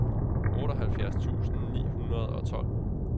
otteoghalvfjerds tusind ni hundrede og tolv